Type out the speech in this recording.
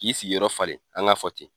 K'i sigi yɔrɔ fale an k'a fɔ ten.